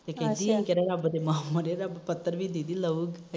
ਤੇ ਕਹਿੰਦੀ ਰੱਬ ਦੇ ਕੇਰਾ ਮਾਹ ਮਰੇ ਰੱਬ ਪੱਥਰ ਵੀ ਲਾਉ